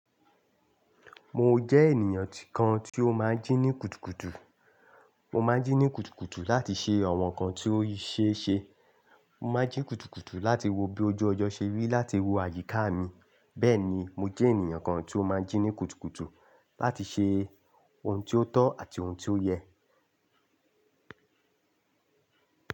Mo jẹ eniyan kan ti o maa n jini kutukutu. Mo ma n jini kutukutu lati ṣe awon nkan ti o ṣeese. Mo ma n jini kutukutu lati wo bi oju ojo ṣe ri lati wo ayika mi. Bẹẹni mo jẹ eniyan kan ti o maa n jini kutukutu lati ṣe ohun ti o tọ ati ohun ti o yẹ.